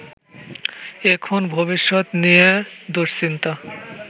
এখন ভবিষ্যত নিয়ে দুশ্চিন্তা